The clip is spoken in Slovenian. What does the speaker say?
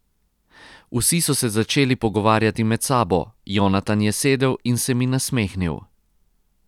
Vsi so se začeli pogovarjati med sabo, Jonatan je sedel in se mi nasmehnil.